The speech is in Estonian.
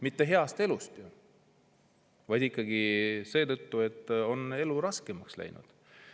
Mitte hea elu tõttu, vaid ikkagi seetõttu, et elu on raskemaks läinud.